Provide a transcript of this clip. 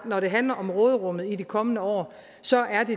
når det handler om råderummet i de kommende år så er det